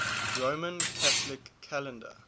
roman catholic calendar